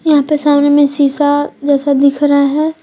यहां पे सामने में शीशा जैसा दिख रहा है।